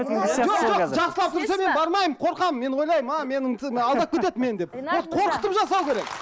жоқ жоқ жақсылап түсіндірсе мен бармаймын қорқамын мен ойлаймын мені алдап кетеді мен деп вот қорқытып жасау керек